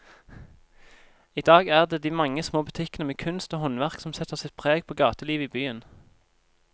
I dag er det de mange små butikkene med kunst og håndverk som setter sitt preg på gatelivet i byen.